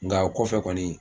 Nka o kɔfɛ kɔni